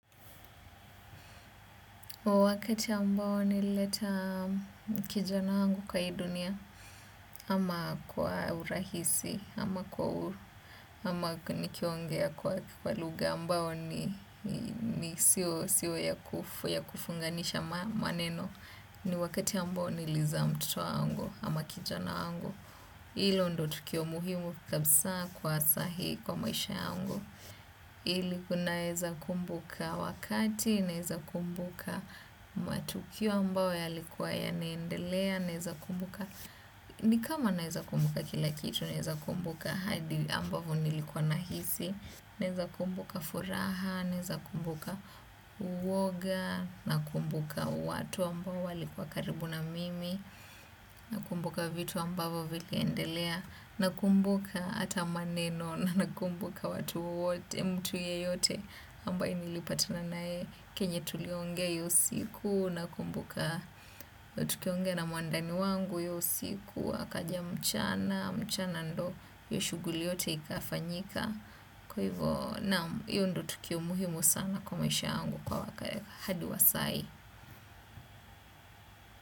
Wakati ambao nilileta kijana wangu kwa hii dunia, ama kwa urahisi, ama kwa huru, ama nikiongea kwa lugha ambayo ni siyo ya kufunganisha maneno. Ni wakati ambao nilizaa mtoto wangu, ama kijana wangu. Hilo ndiyo tukio muhimu kabisa kwa saa hii kwa maisha yangu. Ili naweza kumbuka wakati naweza kumbuka matukio ambayo yalikuwa yanaendelea naweza kumbuka ni kama naweza kumbuka kila kitu naweza kumbuka hadi ambavyo nilikuwa nahisi naweza kumbuka furaha naweza kumbuka woga nakumbuka watu ambao walikuwa karibu na mimi nakumbuka vitu ambavyo viliendelea nakumbuka hata maneno na nakumbuka watu wote mtu yeyote ambaye nilipatana naye chenye tuliongea hiyo siku nakumbuka tukiongea na mwandani wangu hiyo usiku akaja mchana mchana ndiyo hiyo shughuli yote ikafanyika kwa hivyo naam hiyo ndiyo tukio muhimu sana kwa maisha yangu hadi wa saa hii.